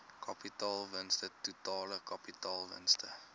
kapitaalwins totale kapitaalwins